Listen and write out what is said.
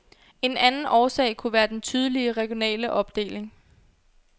En anden årsag kunne være den tydelige regionale opdeling.